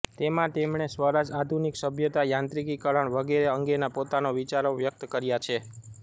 તેમાં તેમણે સ્વરાજ આધુનિક સભ્યતા યાંત્રિકીકરણ વગેરે અંગેના પોતાના વિચારો વ્યક્ત કર્યા છે